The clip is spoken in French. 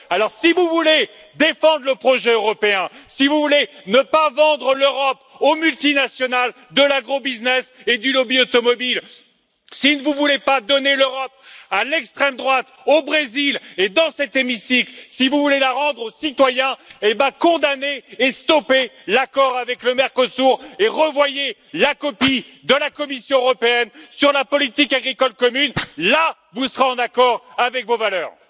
Alors, si vous voulez défendre le projet européen, si vous ne voulez pas vendre l'Europe aux multinationales de l'agrobusiness et du lobby automobile, si vous ne voulez pas donner l'Europe à l'extrême droite, au Brésil et dans cet hémicycle, si vous voulez la rendre aux citoyens, alors condamnez et stoppez l'accord avec le Mercosur et revoyez la copie de la Commission européenne sur la politique agricole commune. Là, vous serez en accord avec vos valeurs.